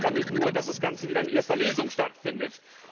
Ich ärgere mich nur, dass das Ganze wieder in erster Lesung stattfindet.